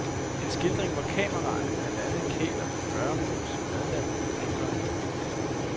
En skildring, hvor kameraerne blandt andet kæler for gøremål som madlavning, rengøring og indkøb.